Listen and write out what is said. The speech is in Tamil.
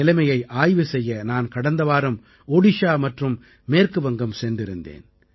நிலைமையை ஆய்வு செய்ய நான் கடந்த வாரம் ஒடிஷா மற்றும் மேற்கு வங்கம் சென்றிருந்தேன்